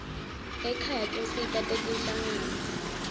ekhaya tinsita tetinhlangano